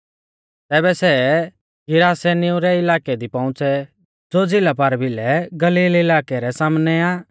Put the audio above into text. तैबै सै गिरासेनिऊ रै इलाकै दी पौउंच़ै ज़ो झ़िला पारभिलै गलील इलाकै रै सामनै आ